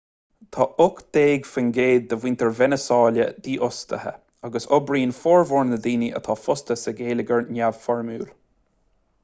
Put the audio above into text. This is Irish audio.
tá ocht déag faoin gcéad de mhuintir veiniséala dífhostaithe agus oibríonn formhór na ndaoine atá fostaithe sa gheilleagar neamhfhoirmiúil